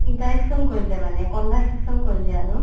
interaction কৰিলে মানে conversation কৰিলে আৰু